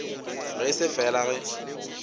ge e se fela ge